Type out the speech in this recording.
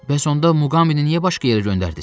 Və sonda Muqambini niyə başqa yerə göndərdiz?